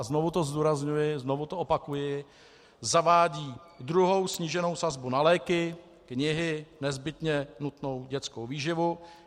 a znovu to zdůrazňuji, znovu to opakuji - zavádí druhou sníženou sazbu na léky, knihy, nezbytně nutnou dětskou výživu.